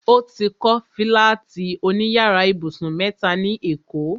O ti kọ́ fílátì òní yàrá ibùsùn mẹ́ta ní èkó